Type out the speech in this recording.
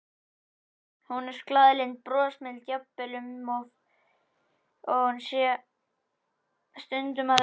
Hún er glaðlynd og brosmild, jafnvel um of, eins og hún sé stundum að leika.